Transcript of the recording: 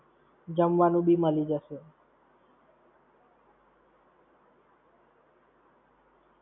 જમવાનું બી મલી જશે.